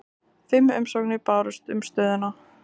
Fimm umsóknir bárust um stöðuna